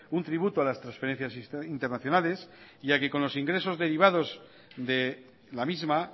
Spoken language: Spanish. un tributo a las transferencias internacionales ya que con los ingresos derivados de la misma